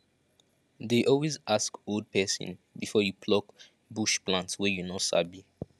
dey always ask old person before you pluck bush plant wey you no sabi